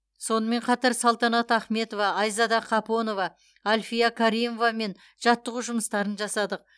сонымен қатар салтанат ахметова айзада қапонова альфия каримовамен жаттығу жұмыстарын жасадық